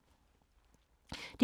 DR K